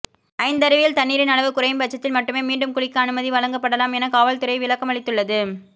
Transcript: ஐந்தருவியில் தண்ணீரின் அளவு குறையும் பட்சத்தில் மட்டுமே மீண்டும் குளிக்க அனுமதி வழங்கப்படாலம் என காவல்துறை விளக்கமளித்துள்ளது